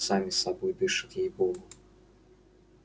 сами собой дышат ей богу